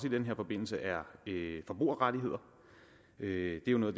i den forbindelse er forbrugerrettigheder det er noget